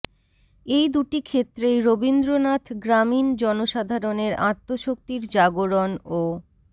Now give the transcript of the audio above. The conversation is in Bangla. এই দুটি ক্ষেত্রেই রবীন্দ্রনাথ গ্রামীণ জনসাধারনের আত্মশক্তির জাগরণ ও